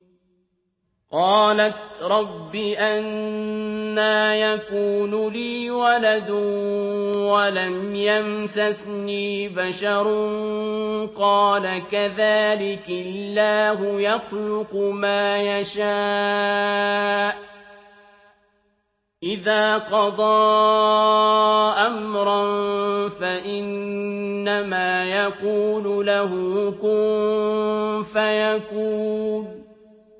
قَالَتْ رَبِّ أَنَّىٰ يَكُونُ لِي وَلَدٌ وَلَمْ يَمْسَسْنِي بَشَرٌ ۖ قَالَ كَذَٰلِكِ اللَّهُ يَخْلُقُ مَا يَشَاءُ ۚ إِذَا قَضَىٰ أَمْرًا فَإِنَّمَا يَقُولُ لَهُ كُن فَيَكُونُ